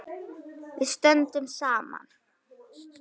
Við stöndum saman.